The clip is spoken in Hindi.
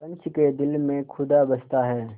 पंच के दिल में खुदा बसता है